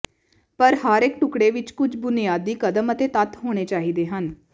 ਪਰ ਹਰੇਕ ਟੁਕੜੇ ਵਿੱਚ ਕੁਝ ਬੁਨਿਆਦੀ ਕਦਮ ਅਤੇ ਤੱਤ ਹੋਣੇ ਚਾਹੀਦੇ ਹਨ